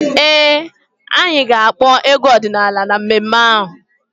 Ee, anyị ga-akpọ egwu ọdịnaala na mmemme ahụ.